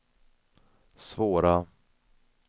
svåra